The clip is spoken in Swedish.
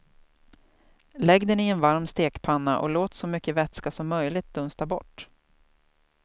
Lägg den i en varm stekpanna och låt så mycket vätska som möjligt dunsta bort.